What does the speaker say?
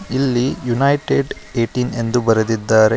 ಇಲ್ಲಿ ಯುನೈಟೆಡ್ ಏಟಿನ ಎಂದು ಬರೆದಿದ್ದಾರೆ.